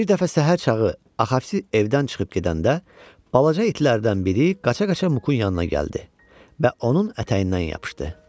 Bir dəfə səhər çağı Axavsi evdən çıxıb gedəndə, balaca itlərdən biri qaça-qaça Muqun yanına gəldi və onun ətəyindən yapışdı.